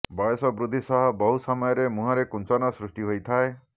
ବୟସ ବୃଦ୍ଧି ସହ ବହୁ ସମୟରେ ମୁହଁରେ କୁଞ୍ଚନ ସୃଷ୍ଟି ହୋଇଥାଏ